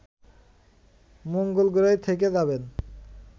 মঙ্গলগ্রহেই থেকে যাবেন